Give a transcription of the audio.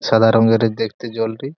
সাদা রঙের দেখতে জলটি।